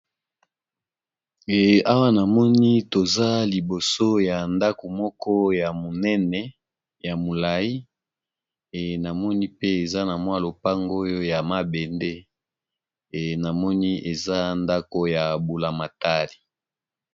Awa namoni toza liboso ya ndako moko ya monene ya molai e namoni pe eza na mwa lopango oyo ya mabende e namoni eza ndako ya mbulamatali.